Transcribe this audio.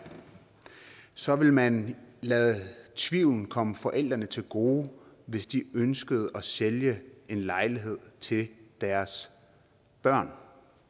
så ville man lade tvivlen komme forældrene til gode hvis de ønskede at sælge en lejlighed til deres børn